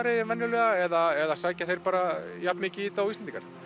en venjulega eða sækja þeir bara jafn mikið í þetta og Íslendingar